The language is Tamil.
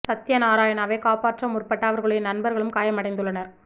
சத்யாநாராயணாவை காப்பாற்ற முற்பட்ட அவருடைய நண்பர்களும் காயம் அடைந்துள்ளனர்